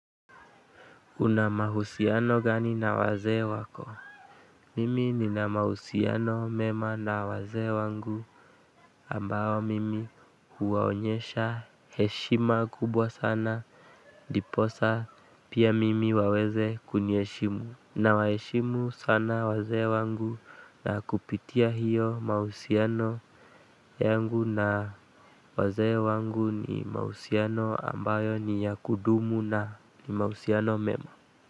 Una mahusiano gani na wazee wako? Mimi nina mahusiano mema na waze wangu ambao mimi huwaonyesha heshima kubwa sana. Ndiposa pia mimi waweze kuniheshimu. Nawaheshimu sana wazee wangu. Na kupitia hiyo, mahusiano yangu na wazee wangu ni mahusiano ambayo ni ya kudumu na ni mahusiano mema.